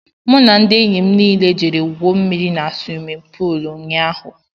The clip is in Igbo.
M na ndị enyị mụ niile jere gwuo mmiri n'swimin poolu ụnyaahụ..